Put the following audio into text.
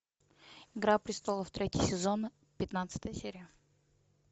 игра престолов третий сезон пятнадцатая серия